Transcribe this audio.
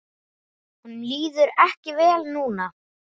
Honum líður ekki vel núna.